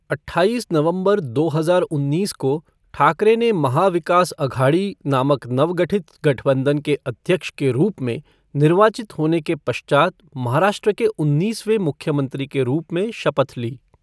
अठाईस नवंबर दो हजार उन्नीस को, ठाकरे ने महा विकास अघाड़ी नामक नवगठित गठबंधन के अध्यक्ष के रूप में निर्वाचित होने के पश्चात महाराष्ट्र के उन्नीसवें मुख्यमंत्री के रूप में शपथ ली।